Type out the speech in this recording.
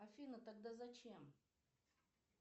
афина тогда зачем